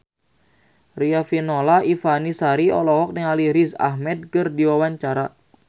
Riafinola Ifani Sari olohok ningali Riz Ahmed keur diwawancara